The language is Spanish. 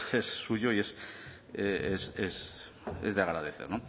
es suyo y es de agradecer